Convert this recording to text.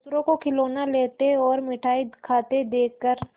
दूसरों को खिलौना लेते और मिठाई खाते देखकर